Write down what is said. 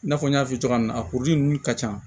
I n'a fɔ n y'a fɔ cogoya min na kuru ninnu ka ca